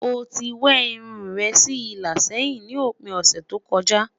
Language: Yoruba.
o tí we irún rè sí ìlà sẹyìn ní òpin ọsẹ tó kojá